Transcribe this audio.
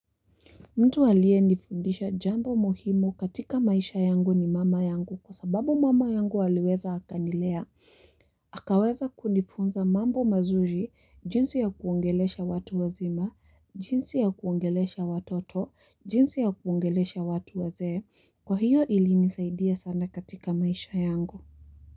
Mtu alie nifundisha jambo muhimu katika maisha yangu ni mama yangu kwa sababu mama yangu aliweza akanilea, mhh akaweza kunifunza mambo mazuri, jinsi ya kuongelesha watu wazima, jinsi ya kuongelesha watoto, jinsi ya kuongelesha watu wazee, kwa hiyo ilinisaidia sana katika maisha yangu.